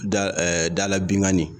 Da dala binkanni